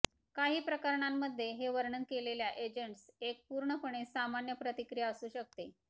काही प्रकरणांमध्ये हे वर्णन केलेल्या एजंटस एक पूर्णपणे सामान्य प्रतिक्रिया असू शकते